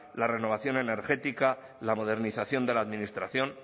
la renovación energética la modernización de la administración